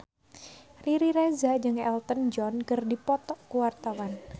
Riri Reza jeung Elton John keur dipoto ku wartawan